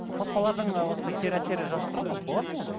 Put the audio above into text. қоспалардың осындай кері әсері жазылып тұрады ма болады ма ондай